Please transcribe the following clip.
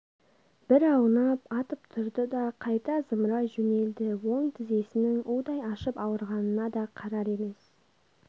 бір аунап атып тұрды да қайта зымырай жөнелді оң тізесінің удай ашып ауырғанына да қарар емес